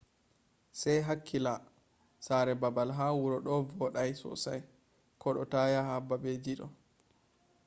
sei hakkila; sare baal ha wuro do vodai sosai kodo ta yaha babeji do